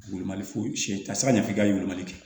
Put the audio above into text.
Bolimali foyi siyɛn ka se ka ɲɛfɔ i ka yɛlɛmali kɛ